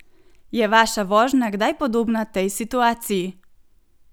Je vaša vožnja kdaj podobna tej situaciji?